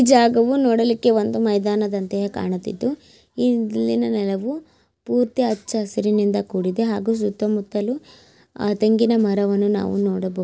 ಜಾಗವು ನೋಡಲಿಕ್ಕೆ ಒಂದು ಮೈದಾನದಂತೆ ಕಾಣುತಿತ್ತು ಈ ಇಲ್ಲಿನಾನೆಲವು ಪೂರ್ತಿ ಹಚ್ಚ ಹಸಿರಿನಿಂದ ಕೂಡಿದೆ ಹಾಗೂ ಸುತ್ತ ಮುತ್ತಲು ಆ ತೆಂಗಿನ ಮರವನ್ನು ನಾವು ನೋಡಬಹುದು.